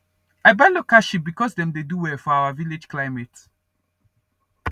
i buy local sheep because dem dey do well for our village climate